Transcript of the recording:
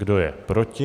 Kdo je proti?